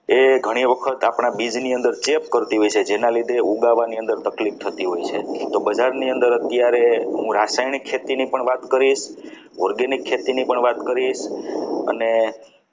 ઘણી વખત આપણા બીજની અંદર ચેક કરતી હોય છે જેના લીધે ફુગાવાની અંદર તકલીફ થતી હોય છે તો બજારની અંદર અત્યારે હું રાસાયણિક ખેતી ની પણ વાત કરીશ organic ખેતીની પણ વાત કરીશ